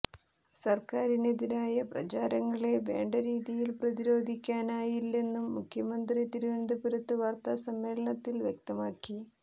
സർക്കാരിനെതിരായ പ്രചാരണങ്ങളെ വേണ്ട രീതിയിൽ പ്രതിരോധിക്കാനായില്ലെന്നും മുഖ്യമന്ത്രി തിരുവനന്തപുരത്ത് വാർത്താസമ്മേളനത്തിൽ വ്യക്തമാക്കി